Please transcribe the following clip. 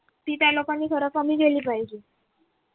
ती त्या लोकांनी खरं कमी केली पाहिजे